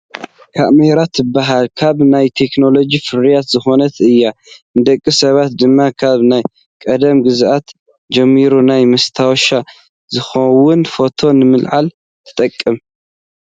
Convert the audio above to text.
ካሜራ ትብሃል ካብ ናይ ቴክኖሎጂ ፍርያት ዝኮነት እያ። ንደቂ ሰባት ድማ ካብ ናይ ቀደም ግዝያት ጀሚራ ናይ መስታወሻ ዝኮውን ፎቶ ንምልዓል ትጠቅም።